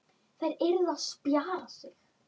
Þær yrðu að spjara sig.